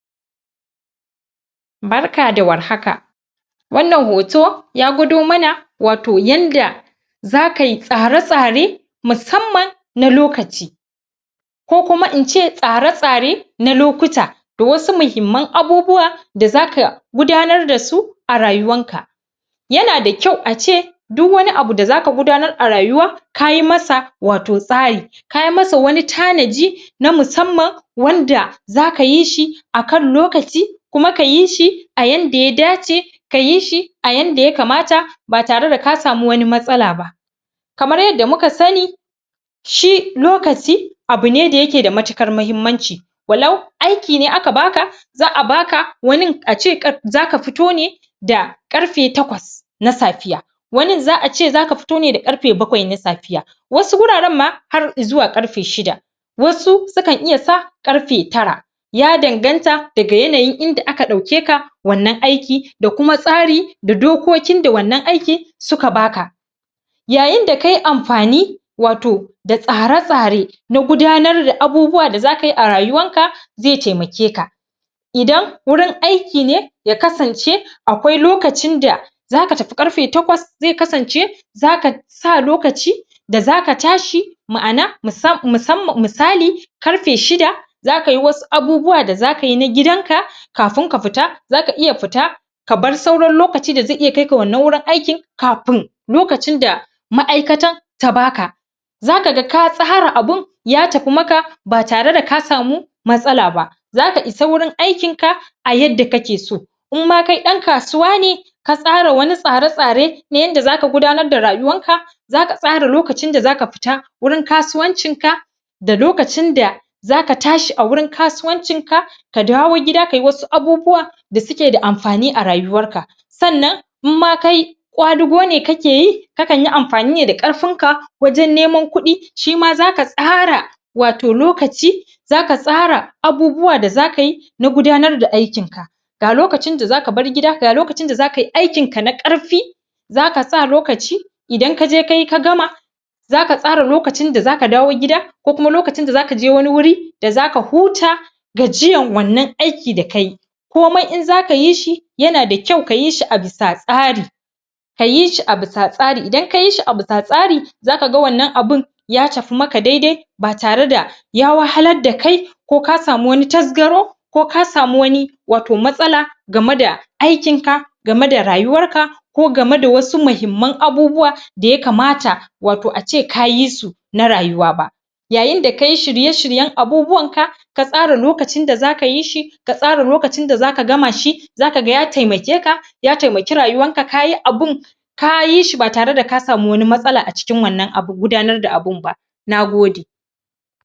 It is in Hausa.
barka da war haka wannan hoto ya gudo mana wato yanda zaka yi tsare tsare musamman na lokaci ko kuma in ce tsare tsare na lokuta da wasu muhimman abubuwa da zaka gudanar dasu a rayuwarka yanada kyau a ce duk wani abu da zaka gudanar a rayuwa kayi masa wato tsari kayi masa wani tanaji na musamman wanda zaka yi shi akan lokaci kuma kayi shi a yanda ya dace kayi shi a yanda ya kamata ba tare da kasa mu wani matsala ba kamar yadda muka sani shi lokaci abu ne da yake da matikar mahimmanci walau aiki ne aka baka za'a baka wanin a ce zaka fito ne da karfe takwas na safiya wanin za'a ce zaka fito ne da karfe bakwai na safiya wasu wuraren ma har i zuwa karfe shida wasu su kan iya sa karfe tara ya danganta daga yanayin inda aka dauke ka wannan aikin da kuma tsari da dokokin da wannan aikin su ka baka yayin da kayi amfani wato da tsare tsare na gudanar da abubuwa da zakayi a rayuwamka zai taimake ka idan wurin aiki ne ya kasance akwai lokacin da zaka tafi karfe takwas zai kasance zaka sa lokaci da zaka tashi ma'ana misali karfe shida zakayi wasu abubuwa da zaka yi na gidan ka kafin ka fita zaka iya fita kabar sauran lokaci da zai iya kai ka wannan aikin kafin lokacin da ma'aikatan ta baka zakaga ka tsara abun ya tafi maka ba tare da ka samu matsala ba zaka isa gurin aikin ka a yadda kake so in ma kai dan kasuwa ne ka tsara wani tsare tsare na yanda zaka ga gdanar da rayuwarka zaka tsara lokaci da zaka fita wurin kasuwancin ka da lokacin da zaka tashi a wurin kasuwancin ka ka dawo gida kayi wasu abubu wa da suke da amfani a ryuwarka sannan in ma kai kwadugo ne kake yi ka kanyi ne amfani da karfin ka wajen nenman kudi shima zaka tsara wato lokaci zaka tsara abubuwa da zaka yi na gudanar da aikinka ga lokacin da zaka bar gida ga lokacin da zaka yi aikin ka na karfi zaka sa lokaci idan ka je kayi ka gama zaka tsara lokacin da zaka dawo gida ko kuma lokacin da zaka je wani guri da zaka huta gajiyan wannan aikin da kayi komai in zaka yi sh yana da kyau kayi shi a bisa tsari kayi shi a bisa tsari idan kayi shi a bisa tsari zaka ga wannan abun ya tafi maka dai dai ba tare da ya wahalar da kai ko ka samu wani tasgaro ko ka samu wani wato matsala game da aikin ka game da rayuwarka ko game da wasu mahimman abubuwa da ya kamata wato a ce kayi su na rayuwa ba yayin da kayi shirye shiryen abubuwan ka ka tsara lokacin da zaka yi shi ka tsara lokacin da zaka gama shi zakaga ya taimake ka ya taimake rayuwanka kayi abun kayi shi ba tare da ka samu wani matsala a cikin wannan bun gudanar da abun ba nagode